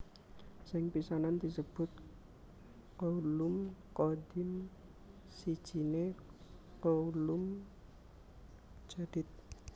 Sing pisanan disebut Qaulun Qadim sijiné Qaulun Jadid